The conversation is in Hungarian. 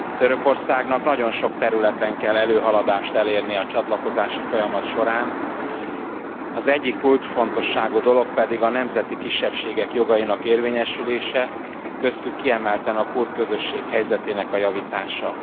Törökországnak nagyon sok területen kell előrehaladást elérnie a csatlakozási folyamat során, az egyik kulcsfontosságú dolog pedig a nemzeti kisebbségek jogainak érvényesülése, köztük kiemelten a kurd közösség helyzetének a javítása.